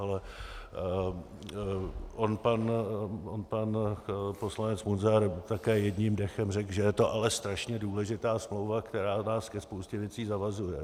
Ale on pan poslanec Munzar také jedním dechem řekl, že je to ale strašně důležitá smlouva, která nás ke spoustě věcí zavazuje.